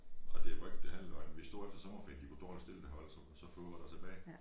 Og det var ikke det halve løgn vi stod efter sommerferien de kunne dårligt det hold så så få var der tilbage